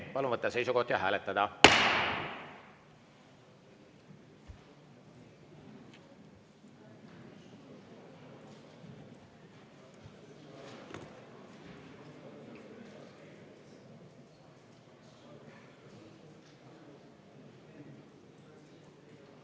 Palun võtta seisukoht ja hääletada!